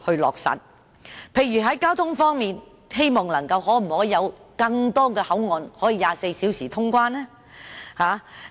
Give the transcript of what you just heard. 例如在交通方面，當局可否增設更多24小時通關口岸呢？